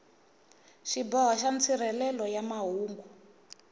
xiboho xa nsirhelelo xa mahungu